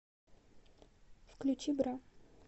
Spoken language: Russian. включи бра